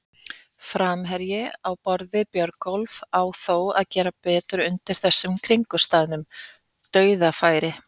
Framherji á borð við Björgólf á þó að gera betur undir þessum kringumstæðum, dauðafæri!